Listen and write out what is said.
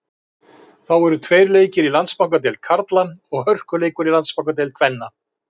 Þá eru tveir leikir í Landsbankadeild karla og hörkuleikur í Landsbankadeild kvenna.